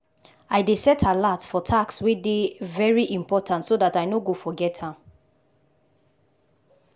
i dey set alert for task wey dey very important so dat i no go forget am.